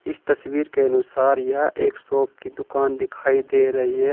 इस तस्वीर के अनुसार यह एक शॉप की दुकान दिखाई दे रही है।